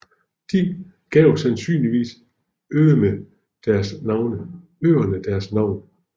De gav sandsynligvis øerne deres navn